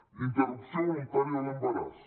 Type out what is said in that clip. interrupció voluntària de l’embaràs